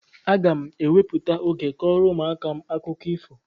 Aga m ewepụta oge kọọrọ ụmụaka m akụkọ ifo.